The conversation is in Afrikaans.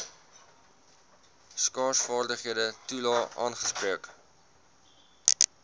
skaarsvaardighede toelae aangespreek